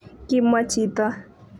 kimwa chito